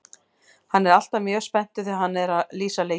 Hann er alltaf mjög spenntur þegar hann er að lýsa leikjum.